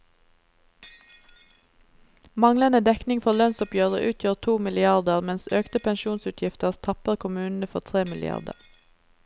Manglende dekning for lønnsoppgjøret utgjør to milliarder, mens økte pensjonsutgifter tapper kommunene for tre milliarder.